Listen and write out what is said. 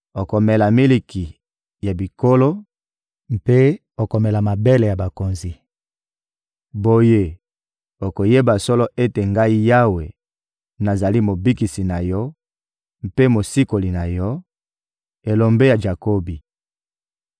Okomela miliki ya bikolo mpe okomela mabele ya bakonzi; boye okoyeba solo ete Ngai Yawe, nazali Mobikisi na yo mpe Mosikoli na yo, Elombe ya Jakobi.